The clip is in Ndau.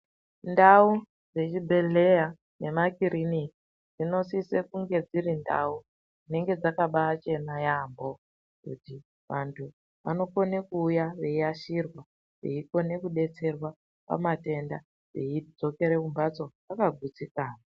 Ndau dzechibhedhleya, nemakiriniki, dzinosise kunge dzirindau dzinenge dzakabachena yambo, kuti vantu vanokone kuwuya veyashirwa veyikone kudetserwa pamatenda veyidzokere kumbatso vakagutsikana.